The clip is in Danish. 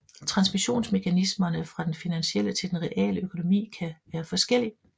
Transmissionsmekanismerne fra den finansielle til den reale økonomi kan være forskellige